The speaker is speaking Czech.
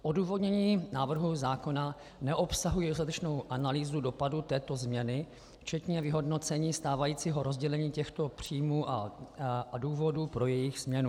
Odůvodnění návrhů zákona neobsahuje dostatečnou analýzu dopadů této změny včetně vyhodnocení stávajícího rozdělení těchto příjmů a důvodů pro jejich změnu.